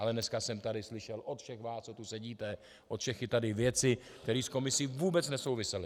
Ale dneska jsem tady slyšel od všech vás, co tu sedíte, od všech i tady věci, které s komisí vůbec nesouvisely.